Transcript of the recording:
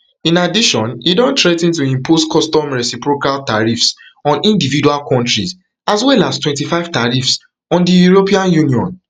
in addition e don threa ten to impose custom reciprocal tariffs on individual countries as well as twenty-five tariffs on di european union